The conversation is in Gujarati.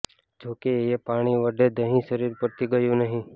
જોકે એ પાણી વડે દહીં શરીર પરથી ગયું નહીં